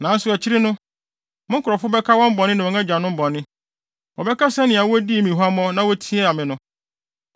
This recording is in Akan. “ ‘Nanso akyiri no, me nkurɔfo bɛka wɔn bɔne ne wɔn agyanom bɔne. Wɔbɛka sɛnea wodii me huammɔ na wotiaa me no.